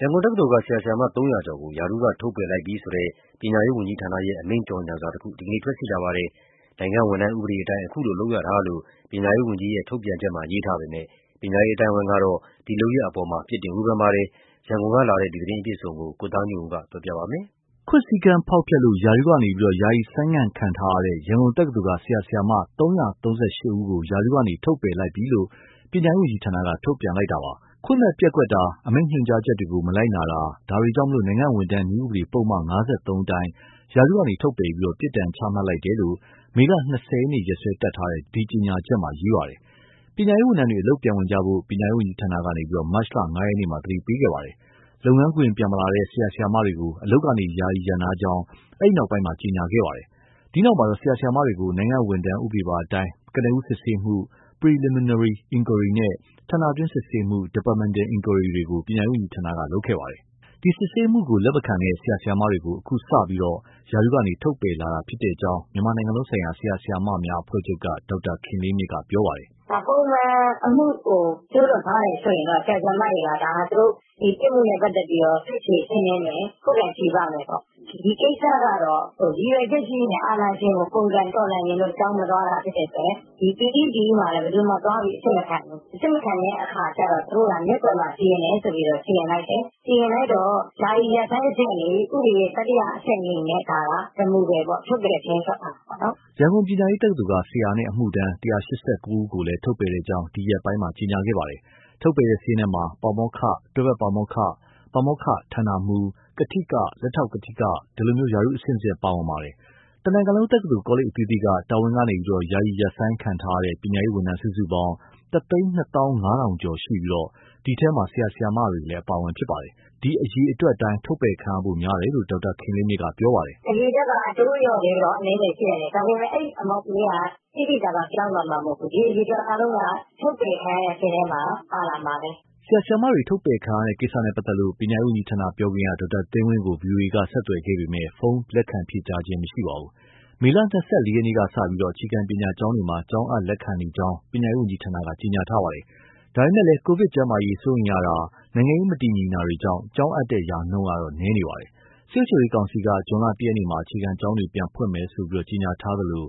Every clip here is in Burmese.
ရန်ကုန်တက္ကသိုလ်က ဆရာ၊ ဆရာမ ၃၀၀ ကျော်ကို ရာထူးက ထုတ်ပယ်လိုက်ပြီဆိုတဲ့ ပညာရေးဝန်ကြီးဌာနရဲ့ အမိန့် ကြေညာစာတစောင် ဒီကနေ့ ထွက်ရှိလာပါတယ်။ နိုင်ငံဝန်ထမ်းဥပဒေအတိုင်း အခုလို လုပ်ရတာလို့ ပညာရေးဝန်ကြီးရဲ့ ထုတ်ပြန်ချက်မှာ ရေးသားထားပေမဲ့ ဒီလုပ်ရပ်အပေါ်မှာတော့ ပညာရေး အသိုင်းအဝိုင်းက ပြစ်တင်၊ ဝေဖန် လိုက်ပါတယ်။ ရန်ကုန်ပေးပို့လာတဲ့ ဒီသတင်း အပြည့်အစုံကိုတော့ ကိုသားညွန့်ဦး ပြောပြမှာပါ။ ခွင့်စည်းကမ်း ဖောက်ဖျက်လို့ ရာထူးက ယာယီဆိုင်းငံ့ခံထားရတဲ့ ရန်ကုန်တက္ကသိုလ်က ဆရာ၊ ဆရာမ ၃၃၈ ယောက်ကို ရာထူးက ထုတ်ပယ်လိုက်ပြီလို့ ပညာရေး ဝန်ကြီးဌာနက ထုတ်ပြန်လိုက်တာပါ။ ခွင့်မဲ့ပျက်ကွက်တာ၊ အမိန့် ညွှန်ကြားချက်တွေကို မလိုက်နာတာ။ ဒါတွေကြောင့် နိုင်ငံ့ဝန်ထမ်း နည်းဥပဒေ ပုဒ်မ ၅၃ အတိုင်း ရာထူးကထုတ်ပယ်ပြီး ပြစ်ဒဏ်ချမှတ် လိုက်တယ်လို့ မေလ ၂၀ရက် နေ့စွဲတပ်ထားတဲ့ ဒီကြေညာချက်မှာ ရေးသားထားတာပါ။ ပညာရေးဝန်ထမ်းတွေ အလုပ်ပြန်ဝင်ကြဖို့ ပညာရေးဝန်ကြီးဌာနက မတ်လ ၅ရက်မှာ သတိပေးခဲ့ပါတယ်။ လုပ်ငန်းခွင် ပြန်မလာတဲ့ ဆရာ၊ ဆရာမတွေကို အလုပ်က ယာယီရပ်နားကြောင်း၊ အဲဒီနောက်ပိုင်းမှာ ကြေညာခဲ့တာပါ။ ဒီနောက်မှာ ဆရာ၊ ဆရာမတွေကို နိုင်ငံ့ဝန်ထမ်းဥပဒေပါအတိုင်း ကနဦးစစ်ဆေးမှု ( Preliminary Enquiry) နဲ့ ဌာနတွင်း စစ်ဆေးမှု ( Departmental Enquiry) တွေကို ပညာရေးဝန်ကြီးဌာနက လုပ်ခဲ့တာပါ။ ဒီစစ်ဆေးမှုကို လက်မခံခဲ့တဲ့ ဆရာ၊ ဆရာမတွေကို အခုစတင်ပြီး ရာထူးကနေ ထုတ်ပယ်လာတာဖြစ်ကြောင်း မြန်မာနိုင်ငံလုံးဆိုင်ရာ ဆရာ၊ ဆရာမများ အဖွဲ့ချုပ်က ဒေါက်တာခင်လေးမြင့်က ပြောပါတယ်။ “ ပုံမှန်အမှုကို ကျူးလွန်ထားတယ် ဆိုရင်တော့ ဆရာ၊ ဆရာမတွေက ဒါဟာ သူတို့ ဒီပြစ်မှုနဲ့ ပတ်သက်ပြီးတော့ ထုချေရှင်းလင်းမယ်၊ ခုခံချေပမယ်ပေါ့။ ဒီကိစ္စကတော့ ရည်ရွယ်ချက်ရှိရှိနဲ့ အာဏာရှင်ကို ပုန်ကန်တော်လှန်ချင်လို့ ကျောင်းမသွားတာ ဖြစ်တဲ့အတွက် ဒီ PE/DE မှာလည်း ဘယ်သူမှသွားပြီး အစစ်မခံဘူး။ အစစ်မခံတဲ့ အခါကျတော့ သူတို့က မျက်ကွယ်မှာ စီရင်တယ် ဆိုပြီးတော့ စီရင်လိုက်တယ်။ ယာယီရပ်ဆိုင်း အဆင့်ကနေ ဥပဒေရဲ့ တတိယ အဆင့်အနေနဲ့ ဒါဟာ removal ပေါ့ ထုတ်ပယ်စာရင်း ထွက်လာတာပေါ့။” ရန်ကုန် ပညာရေးတက္ကသိုလ်က ဆရာနဲ့ အမှုထမ်း ၁၈၉ ယောက်ကိုလည်း ထုတ်ပယ်ကြောင်း ဒီရက်ပိုင်းက ကြေညာခဲ့တာပါ။ ထုတ်ပယ်တဲ့ စာရင်းမှာ ပါမောက္ခ၊ တွဲဖက်ပါမောက္ခ၊ ပါမောက္ခ ( ဋ္ဌာနမှူး)၊ ကထိက၊ လက်ထောက်ကထိက ဒီလို ရာထူးအဆင့် အမျိုးမျိုး ပါဝင်ပါတယ်။ လတ်တလောအားဖြင့် တာဝန်က ယာယီရပ်ဆိုင်းခံထားရတဲ့ ပညာရေးဝန်ထမ်းစုစုပေါင်း ၁၂၅၀၀၀ ကျော်ရှိပြီး၊ ဒီထဲမှာ ဆရာ ဆရာမတွေလည်းအပါအဝင်ဖြစ်ပါတယ်။ ဒီအရေအတွက်အတိုင်း ထုတ်ပယ်ခံရဖို့များကြောင်း ဒေါက်တာခင်လေးမြင့်က ပြောပါတယ်။ “ အရေအတွက်က အတိုးအလျော့လေးတော့ အနည်းငယ် ရှိနိုင်တယ်။ ဒါပေမဲ့ အဲဒီ ပမာဏကြီးဟာ သိသိသာသာ ပြောင်းသွားမှာ မဟုတ်ဘူး။ ဒီအရေအတွက် အားလုံးက ထုတ်ပယ်ခံရတဲ့ စာရင်းထဲမှာ ပါလာမှာပဲ။” ဆရာဆရာမတွေ ထုတ်ပယ်ခံရတဲ့ကိစ္စကို ပညာရေးဝန်ကြီးဌာန ပြောခွင့်ရ ဒေါက်တာသိန်းဝင်းကို ဗွီအိုအေက ဆက်သွယ်ခဲ့ပေမဲ့ ဖုန်းပြန်လည် ဖြေကြားခြင်း မရှိပါဘူး။ မေလ ၂၄ ရက်ကစပြီး အခြေခံပညာကျောင်းတွေမှာ ကျောင်းအပ်လက်ခံနေကြောင်း ပညာရေးဝန်ကြီးဌာနက ကြေညာထားပါတယ်။ ဒါပေမဲ့ ကိုဗစ်ကျန်းမာရေး စိုးရိမ်ရတာ၊ နိုင်ငံရေး မတည်ငြိမ်တာတွေကြောင့် ကျောင်းအပ်တဲ့နှုန်းကတော့ နည်းနေပါတယ်။ စစ်အုပ်ချုပ်ရေးကောင်စီက ဇွန်လ ၁ရက်မှာ အခြေခံကျောင်းတွေ ပြန်ဖွင့်မယ်လို့ ကြေညာထားသလို လုပ်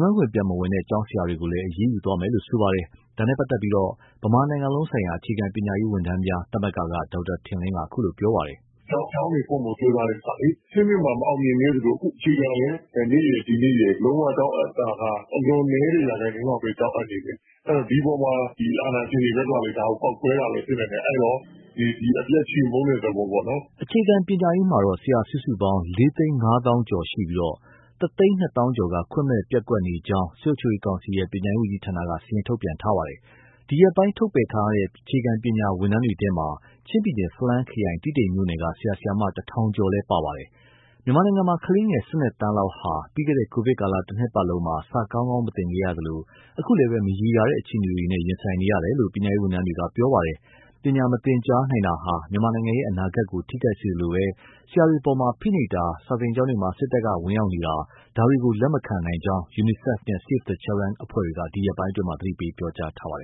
ငန်းခွင်ပြန်မဝင်တဲ့ ကျောင်းဆရာတွေကိုလည်း အရေးယူသွားမယ်လို့ ဆိုပါတယ်။ ဒါနဲ့ပတ်သက်လို့ ဗမာနိုင်ငံလုံးဆိုင်ရာ အခြေခံပညာရေးဝန်ထမ်းများ သမဂ္ဂက ဒေါက်တာထင်လင်းက အခုလိုပြောပါတယ်။ “ ကျောင်းတွေဖွင့်ဖို့ ကြိုးစားတဲ့ကိစ္စလေ အဆင့်မြင့်( ပညာရေး) မှာ မအောင်မြင်ခဲ့သလို အခုအခြေခံ ( ပညာ) မှာလည်း မနေ့ရယ် ဒီနေ့ရယ် ကျောင်းအပ်တာက အလွန်နည်းတဲ့ ရာခိုင်နှုန်းလောက်ပဲ ကျောင်းအပ်နေတယ်၊ ဒီအပေါ်မှာ စစ်အာဏာရှင်တွေ ဘက်ကလည်း ဒါကိုပေါက်ကွဲတာလည်း ဖြစ်နိုင်တယ်။ အဲဒီတော့ အပြတ်ချေမှုန်းတဲ့ သဘောပေါ့နော်။” အခြေခံညာရေးမှာတော့ ဆရာစုစုပေါင်း ၄၅၀၀၀၀ ကျော်ရှိပြီး ၁၂၀၀၀၀ ကျော်က ခွင့်မဲ့ပျက်ကွက်နေကြောင်း စစ်အုပ်ချုပ်ရေး ကောင်စီရဲ့ ပညာရေး ဝန်ကြီးဌာနက စာရင်း ထုတ်ပြန်ထားတာပါ။ ဒီရက်ပိုင်း ထုတ်ပယ်ခံရတဲ့ အခြေခံပညာ ဝန်ထမ်းတွေထဲမှာ ချင်းပြည်နယ် ဖလမ်းခရိုင်၊ တီးတိန်မြို့နယ်က ဆရာ ဆရာမ ၁၀၀၀ ကျော်လည်း ပါဝင်ပါတယ်။ မြန်မာနိုင်ငံမှာ ကလေးငယ် ၁၂ သန်းလောက်က ပြီးခဲ့တဲ့ ကိုဗစ်ကာလ တနှစ်ပတ်လုံးမှာ စာကောင်းကောင်း မသင်ခဲ့ရသလို အခုလည်း မရေရာတဲ့ အခြေအနေတွေနဲ့ ရင်ဆိုင်နေရတယ်လို့ ပညာရေး ဝန်ထမ်းတွေက ပြောပါတယ်။ ပညာမသင်ကြားနိုင်တာဟာ မြန်မာနိုင်ငံရဲ့ အနာဂတ်ကို ထိခိုက်စေလို့ ဆရာတွေအပေါ် ဖိနှိပ်တာ၊ စာသင်ကျောင်းတွေမှာ စစ်တပ်ဝင်ရောက်နေတာ ဒါတွေကို လက်မခံနိုင်ကြောင်း UNICEF နဲ့ Save the Children က ဒီရက်ပိုင်းအတွင်းမှာ သတိပေး ပြောကြားထားပါတယ်